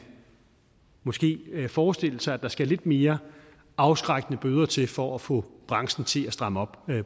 måske forestille sig at der skal nogle lidt mere afskrækkende bøder til for at få branchen til at stramme op